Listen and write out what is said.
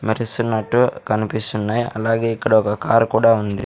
మెరిసినట్టు కనిపిస్తున్నాయ్ అలాగే ఇక్కడ ఒక కారు కూడా ఉంది.